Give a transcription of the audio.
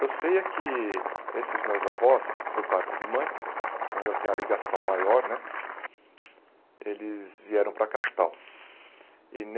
Eu sei é que esses meus avós, por parte de mãe, que é onde eu tenho a ligação maior né, eles vieram para a capital. E